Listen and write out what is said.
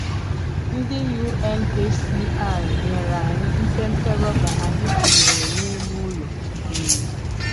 Ndị UNHCR nyere anyị mpempe rọba anyị tinyere n’elu ụlọ. um